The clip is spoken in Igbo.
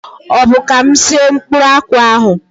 Ọbụ ka mụ sie mkpụrụ akwụ ahụ?